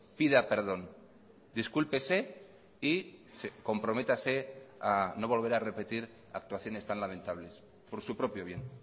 pida perdón discúlpese y comprométase a no volver a repetir actuaciones tan lamentables por su propio bien